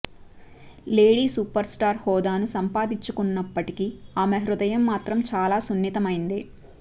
లేడి superstar హోదాను సంపాదించుకొన్నప్పటికీ ఆమె హృదయం మాత్రం చాలా సున్నితమైందే